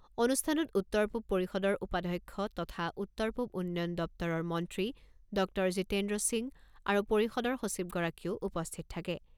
অনুষ্ঠানত উত্তৰ পূব পৰিষদৰ উপাধ্যক্ষ তথা উত্তৰ পূব উন্নয়ন দপ্তৰৰ মন্ত্ৰী ডক্টৰ জীতেন্দ্ৰ সিং আৰু পৰিষদৰ সচিবগৰাকীও উপস্থিত থাকে।